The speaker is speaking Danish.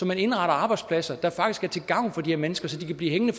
man indretter arbejdspladser der faktisk er til gavn for de her mennesker så de kan blive hængende